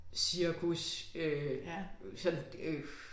Cirkus øh sådan øh